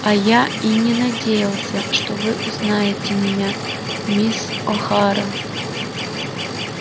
а я и не надеялся что вы узнаете меня мисс охара